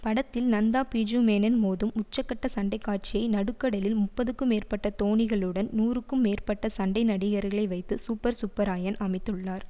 படத்தில் நந்தா பிஜூமேனன் மோதும் உச்சக்கட்ட சண்டைக்காட்சியை நடுக்கடலில் முப்பதுக்கும் மேற்பட்ட தோணிகளுடன் நூறுக்கும் மேற்பட்ட சண்டைநடிகர்களை வைத்து சூப்பர் சுப்பராயன் அமைத்துள்ளார்